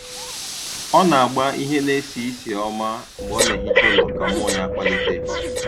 Ọ na - agba ihe na-esi isi ọma mgbe ọ na - ehicha ụlọ ka mmụọ ya kpalite.